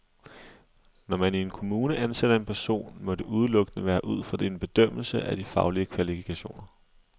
Når man i en kommune ansætter en person, må det udelukkende være ud fra en bedømmelse af de faglige kvalifikationer.